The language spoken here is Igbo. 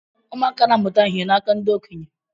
Ụmụaka na-amụta ihe n'aka ndị okenye.